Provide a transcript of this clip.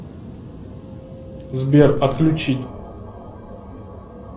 сбер отключить